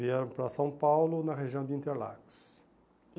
Vieram para São Paulo, na região de Interlagos. E